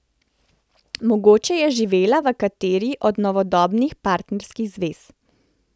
Mogoče je živela v kateri od novodobnih partnerskih zvez.